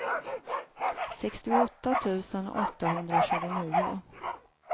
sextioåtta tusen åttahundratjugonio